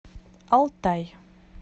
алтай